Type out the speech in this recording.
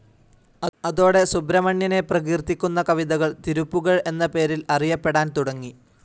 അതോടെ സുബ്രഹ്മണ്യനെ പ്രകീർത്തിക്കുന്ന കവിതകൾ തിരുപ്പുകഴ് എന്ന പേരിൽ അറിയപ്പെടാൻ തുടങ്ങി.